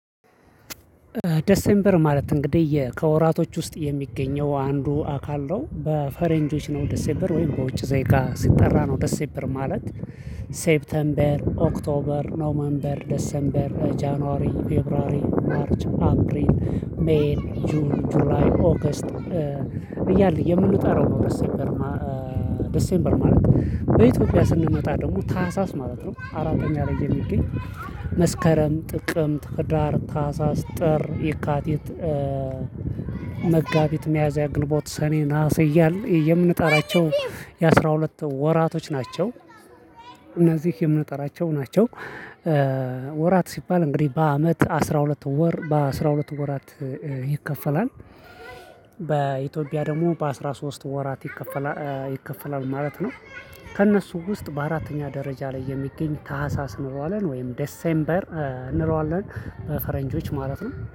ደሴንበር ማለት እንግዲህ ከወራቶች ውስጥ የሚገኘው አንዱ አካል ነው በፈሬንጆች ነው ደሴበር ወይም በውጭ ዘይጋ ሲጠራ ነው ደሴበር ማለት ሴፕተምበር ኦክቶበር ኖመንበር ደሰንበር ጃንዋሪ ፌብራሪ ማርች አፕሪል ሜን ጁን ጁላይ ኦገስት እያለን የምንጠራው ነው። ደስ ምበር ማለት በኢትዮጵያ ስንመጣ ደግሞ ታህሳስ ማለት ነው። አራተኛ ላይ የሚገኝ መስከረም ጥቅም ህዳር ታህሳስ ጥር የካቲት መጋቢት ሚያዝያ ግንቦት ሰኔ ናሐሴ እያለን የምንጣራቸው የአስራ ሁለት ወራቶች ናቸው። እነዚህ የምንጠራቸው ናቸው። ወራቶች ሲባል እንግዲህ በአመት አስራ ሁለት ወር በአስራ ሁለት ወራት ይከፈላል። ደግሞ በአስራ ሶስት ወራት ይከፈላል ማለት ነው። ከእነሱ ውስጥ በአራተኛ ደረጃ ላይ የሚገኝ ታህሳስ እንለዋለን ወይም ዴሴምበር እንለዋለን በፈረንጆች ማለት ነው